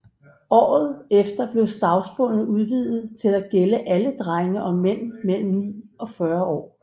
Året efter blev stavnsbåndet udvidet til at gælde alle drenge og mænd mellem ni og 40 år